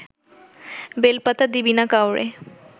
বেলপাতা দিবি না কাউরে